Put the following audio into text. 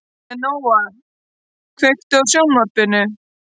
Leóna, kveiktu á sjónvarpinu.